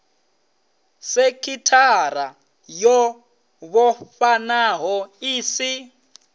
sekithara yo vhofhanaho i si